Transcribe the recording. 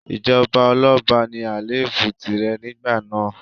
Ìjọba ọlọ́ba ní àléébù tìrẹ nígbà náà.